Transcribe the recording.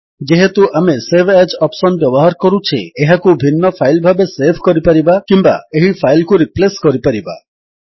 ଯେହେତୁ ଆମେ save as option ବ୍ୟବହାର କରୁଛେ ଏହାକୁ ଭିନ୍ନ ଫାଇଲ୍ ଭାବେ ସେଭ୍ କରିପାରିବା କିମ୍ୱା ଏହି ଫାଇଲ୍ କୁ ରିପ୍ଲେସ୍ କରିପାରିବା